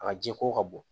A jiko ka bon